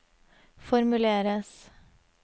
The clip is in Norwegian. formuleres